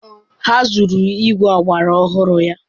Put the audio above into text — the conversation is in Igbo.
Ha zuru igwe ọgbara ọhụrụ ya.